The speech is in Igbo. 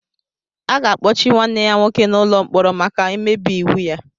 A ga-akpọchi nwanne ya nwoke n'ụlọ mkpọrọ maka mmebi iwu ya